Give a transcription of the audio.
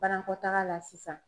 Banakɔtaga la sisan